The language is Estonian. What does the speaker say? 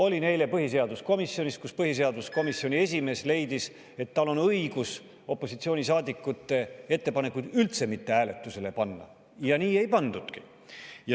Olin eile põhiseaduskomisjonis, kus põhiseaduskomisjoni esimees leidis, et tal on õigus opositsioonisaadikute ettepanekuid üldse mitte hääletusele panna, ja nii ei pandudki.